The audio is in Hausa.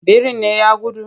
Birin ne ya gudu?